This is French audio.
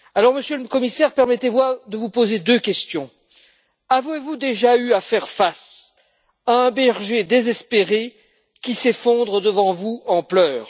Monsieur le Commissaire, permettez moi de vous poser deux questions avez vous déjà eu à faire face à un berger désespéré qui s'effondre devant vous en pleurs?